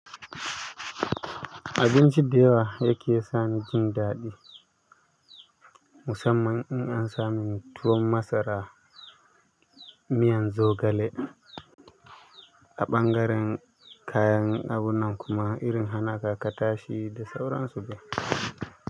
Abinci da yawa yake sa ni jin daɗi, musamman in an sami tuwon masara miyan zogale. A ɓangaren kayan abun nan kuma irin hana ka katashi da sauran su dai.